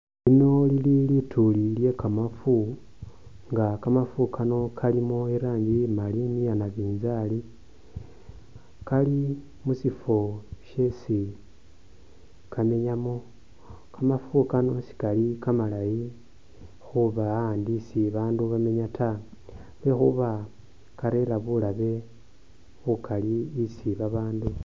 Lino lili lituli lyekamafu nga kamafu kano kalimo iranji imali ni iya nabinzali ,kali mushifo shesi kamenyamo ,kamafu kano sikali kamalayi khuba a’andu isi abandu bamenya taa lwekhuba karera bulabe bukali isi babandu.